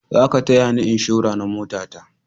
Za ka taya ni inshora na mota ta!